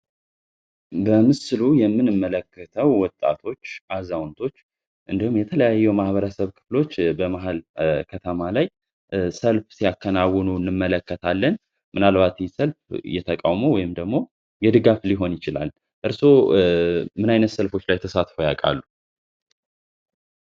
የምንመለከተው ወጣቶች አዛውንቶች የተለያዩ ማህበረሰብ ክፍሎች በመሃል ከተማ ላይ ሰልፍ ሲያከናውኑ እንመለከታለን ምናልባት እየተቃውሞ ወይም ደግሞ የድጋፍ ሊሆን ይችላል። እርሶ ምን አይነት ተሳትፎ ያቃሉ?